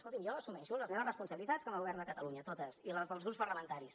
escolti’m jo assumeixo les meves responsabilitats com a govern de catalunya totes i les dels grups parlamentaris